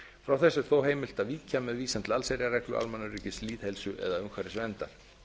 frá þessu er þó heimilt að víkja með vísan til allsherjarreglu almannaöryggis lýðheilsu eða umhverfisverndar